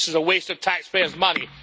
This is a waste of taxpayers' money.